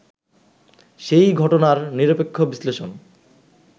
সেই ঘটনার নিরপেক্ষ বিশ্লেষণ